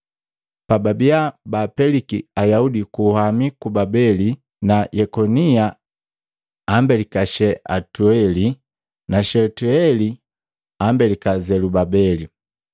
Pababiya baapeliki Ayaudi ku luhami luku Babeli, na Yekonia ambelika Shealutieli na Shetieli ambelika Zelubabeli,